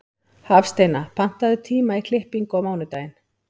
Hafsteina, pantaðu tíma í klippingu á mánudaginn.